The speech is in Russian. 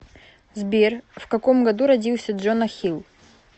сбер в каком году родился джона хилл